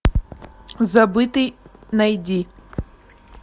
забытый найди